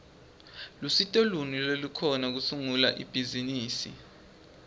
lusito luni lolukhona kusungula ibhizimisi